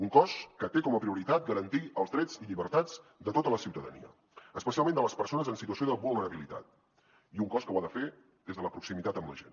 un cos que té com a prioritat garantir els drets i llibertats de tota la ciutadania especialment de les persones en situació de vulnerabilitat i un cos que ho ha de fer des de la proximitat amb la gent